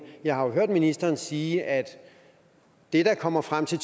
jeg har hørt ministeren sige at det der kommer frem til